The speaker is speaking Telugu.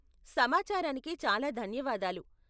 సమాచారానికి చాలా ధన్యవాదాలు.